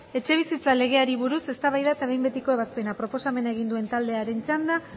etxebizitza legeari buruz eztabaida eta behin betiko ebazpena proposamena egin duen taldeen txanda